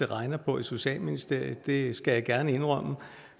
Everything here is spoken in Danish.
regner på i socialministeriet det skal jeg gerne indrømme